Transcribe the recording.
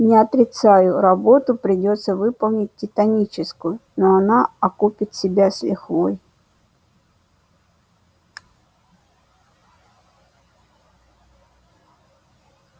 не отрицаю работу придётся выполнить титаническую но она окупит себя с лихвой